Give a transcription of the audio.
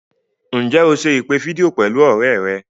Ǹjẹ́ o se ìpè fídíò pẹ̀lú ọ̀rẹ́ rẹ̀?